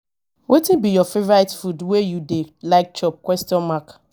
wetin be your favourite food wey you dey like chop question mark